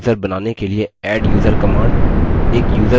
नया यूज़र बनाने के लिए adduser command